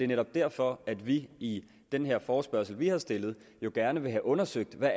netop derfor at vi i den her forespørgsel vi har stillet gerne vil have undersøgt hvad